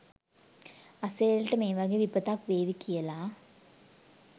අසේලට මේ වගේ විපතක්‌වේවි කියලා